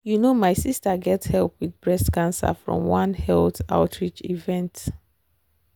you know my sister get help with breast cancer from one health outreach event.